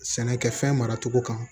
Sɛnɛkɛfɛn mara cogo kan